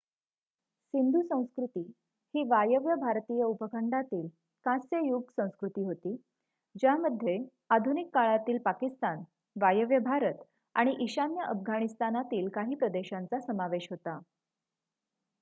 सिंधू संस्कृती ही वायव्य भारतीय उपखंडातील कांस्य युग संस्कृती होती ज्यामध्ये आधुनिक काळातील पाकिस्तान वायव्य भारत आणि ईशान्य अफगाणिस्तानातील काही प्रदेशांचा समावेश होता